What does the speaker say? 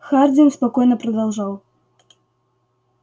хардин спокойно продолжал